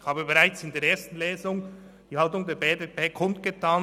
Ich habe bereits während der ersten Lesung die Haltung der BDP kundgetan.